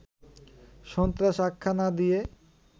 সন্ত্রাস আখ্যা না দিয়ে